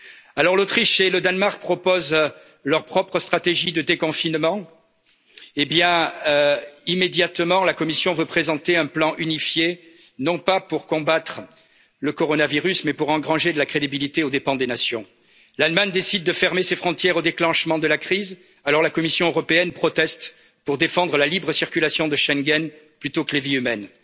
Alors l'Autriche et le Danemark proposent leur propre stratégie de déconfinement. Eh bien, immédiatement, la Commission veut présenter un plan unifié, non pas pour combattre le coronavirus mais pour engranger de la crédibilité aux dépens des nations. L'Allemagne décide de fermer ses frontières au déclenchement de la crise, alors la Commission européenne proteste pour défendre la libre circulation de Schengen plutôt que les vies humaines.